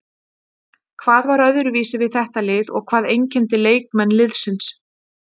Hvað var öðruvísi við þetta lið og hvað einkenndi leikmenn liðsins?